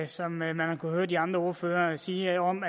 som man har kunnet høre de andre ordførere sige om